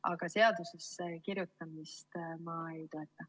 Aga seadusesse kirjutamist ma ei toeta.